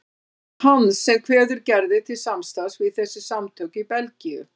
Það er hann sem kveður Gerði til samstarfs við þessi samtök í Belgíu.